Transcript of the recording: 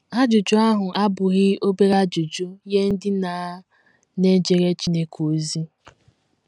Ajụjụ ahụ abụghị obere ajụjụ nye ndị na na - ejere Chineke ozi.